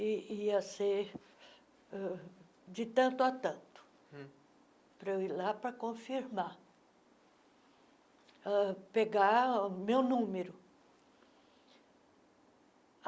ia ia ser uh de tanto a tanto, para eu ir lá para confirmar, uh pegar o meu número.